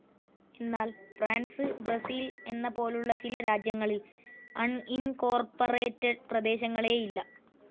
എന്നാൽ France, Brazil എന്ന പോലുള്ള ചില രാജ്യങ്ങളിൽ അണിൻകോർപ്പറേറ്റഡ്‌ പ്രദേശങ്ങളേയില്ല.